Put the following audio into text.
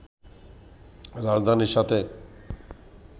রাজধানীর সাথে